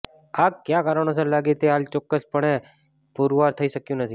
આગ ક્યાં કારણોસર લાગી તે હાલ ચોક્કસ પણે પુરવાર થઇ શક્યું નથી